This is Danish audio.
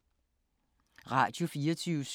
Radio24syv